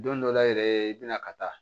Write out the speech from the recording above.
Don dɔ la yɛrɛ i bɛna ka taa